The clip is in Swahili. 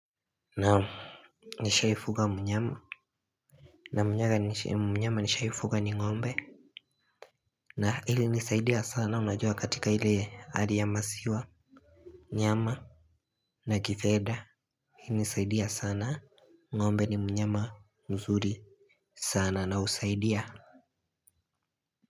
Naam. Nishaifuga mnyama. Na mnyama nishaifuga ni ngombe. Na ilinisaidia sana unajua katika hile hali ya maziwa. Nyama na kifedha ilinisaidia sana. Ngombe ni mnyama mzuri sana na husaidia.